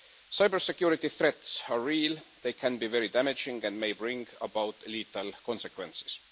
Cybersecurity threats are real, they can be very damaging and may bring about lethal consequences.